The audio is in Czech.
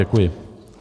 Děkuji.